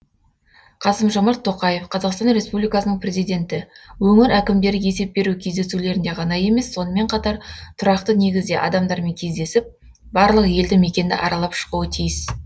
қасым жомарт тоқаев қазақстан республикасының президенті өңір әкімдері есеп беру кездесулерінде ғана емес сонымен қатар тұрақты негізде адамдармен кездесіп барлық елді мекенді аралап шығуы тиіс